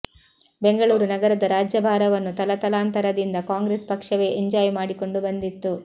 ಬೆಂಗಳೂರು ನಗರದ ರಾಜ್ಯಭಾರವನ್ನು ತಲತಲಾಂತರದಿಂದ ಕಾಂಗ್ರೆಸ್ ಪಕ್ಷವೇ ಎಂಜಾಯ್ ಮಾಡಿಕೊಂಡು ಬಂದಿತ್ತು